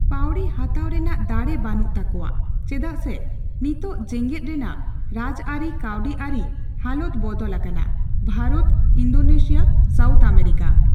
ᱯᱟᱹᱣᱲᱤ ᱦᱟᱛᱟᱣ ᱨᱮᱱᱟᱜ ᱫᱟᱲᱮ ᱵᱟᱱᱩᱜ ᱛᱟᱠᱚᱣᱟ᱾ ᱪᱮᱫᱟᱜ ᱥᱮ ᱱᱤᱛᱳᱝ ᱡᱮᱜᱮᱫ ᱨᱮᱱᱟᱜ ᱨᱟᱡᱽ ᱟᱨᱤ, ᱠᱟᱹᱣᱰᱤ ᱟᱨᱤ ᱦᱟᱞᱚᱛ ᱵᱚᱫᱚᱞ ᱟᱠᱟᱱᱟ᱾ Bharat, Indonesia, South America